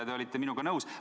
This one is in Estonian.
Te olite ka minuga nõus.